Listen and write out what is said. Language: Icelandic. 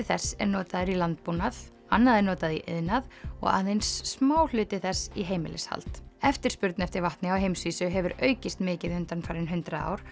þess er notaður í landbúnað annað er notað í iðnað og aðeins smáhluti þess í heimilishald eftirspurn eftir vatni á heimsvísu hefur aukist mikið undanfarin hundrað ár